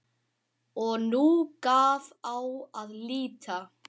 Og nú gaf á að líta.